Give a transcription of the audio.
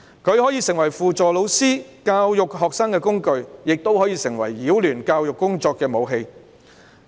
它可以成為輔助老師教育學生的工具，亦可以成為擾亂教育工作的武器。